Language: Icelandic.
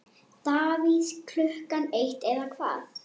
Davíð Klukkan eitt eða hvað?